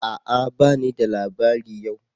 A'a! bani da labari yau